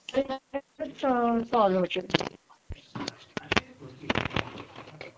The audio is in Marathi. UNIN